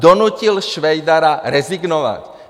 Donutil Švejdara rezignovat.